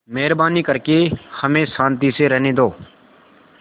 मेहरबानी करके हमें शान्ति से रहने दो